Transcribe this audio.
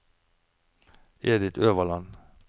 Edith Øverland